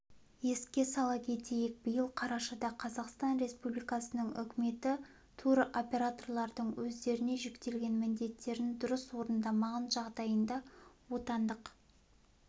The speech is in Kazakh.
еске сала кетейік биыл қарашада қазақстан республикасының үкіметі туроператорлардың өздеріне жүктелген міндеттерін дұрыс орындамаған жағдайында отандық